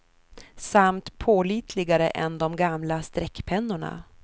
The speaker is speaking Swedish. Samt pålitligare än de gamla streckpennorna.